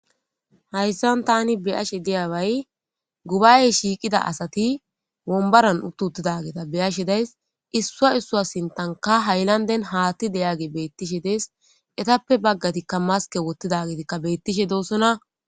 Hayssan taani be'ashe diyabay gubbayey shiiqida asati wombaran uutti uuttidageeta be'ashe dayis issuwa issuwa sinttankka hayllanden haatti de'iyagii beettishe dees eettappe baggatikka maske wottidagetikka bettishe dossonna